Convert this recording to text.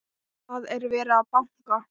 Það er verið að banka!